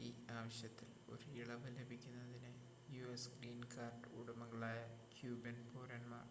ഈ ആവശ്യത്തിൽ ഒരു ഇളവ് ലഭിക്കുന്നതിന് യുഎസ് ഗ്രീൻ കാർഡ് ഉടമകളായ ക്യൂബൻ പൗരന്മാർ